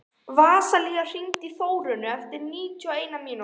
Vasilia, hringdu í Þórönnu eftir níutíu og eina mínútur.